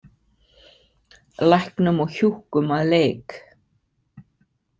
Læknum og hjúkkum að leik.